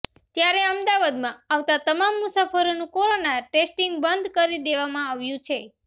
ત્યારે અમદાવાદમાં આવતા તમામ મુસાફરોનું કોરોના ટેસ્ટીંગ બંધ કરી દેવામાં આવ્યુ છે